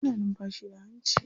Ana numfashi da hanci.